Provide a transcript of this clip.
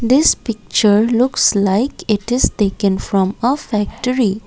this picture looks like it is taken from a factory.